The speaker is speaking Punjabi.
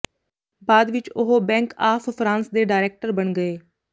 ਬਾਅਦ ਵਿਚ ਉਹ ਬੈਂਕ ਆਫ਼ ਫਰਾਂਸ ਦੇ ਡਾਇਰੈਕਟਰ ਬਣ ਗਏ